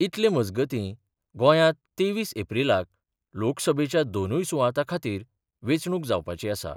इतले मजगतीं गोंयांत तेवीस एप्रीलाक लोकसभेच्या दोनूय सुवातां खातीर वेंचणूक जावपाची आसा.